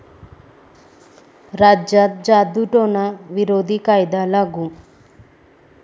राज्यात जादुटोणा विरोधी कायदा लागू